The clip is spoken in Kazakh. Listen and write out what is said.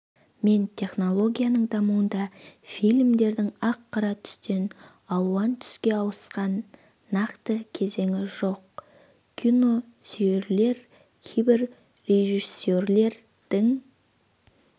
мен технологияның дамуында фильмдердің ақ-қара түстен алуан түске ауысқан нақты кезеңі жоқ киносүйерлер кейбір режиссерлердің